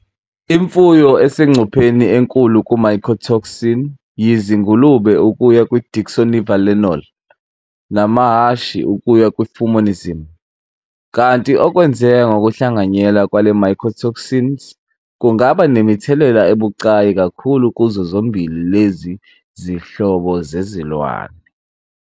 Imfuyo esengcupheni enkulu ku-mycotoxins yizingulube ukuya ku-deoxynivalenol namahhashi ukuya ku-fumonisn, kanti okwenzeka ngokuhlanganyela kwale-mycotoxins kungaba nemithelela ebucayi kakhulu kuzo zombili lezi zinhlobo zezilwane.